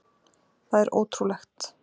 Það er ótrúlegt.